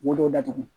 Wodo datugu